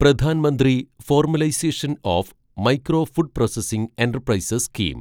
Pradhan Mantri formalisation of micro food processing enterprises scheme